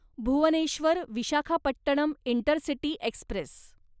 Bhubaneswar Visakhapatnam intercity Express